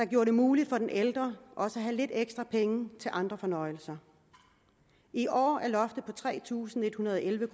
gjorde det muligt for den ældre også at have lidt ekstra penge til andre fornøjelser i år er loftet på tre tusind en hundrede og elleve